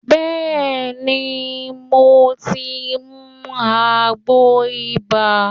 Bẹ́ẹ̀ ni, mo ti ń mu àgbo ibà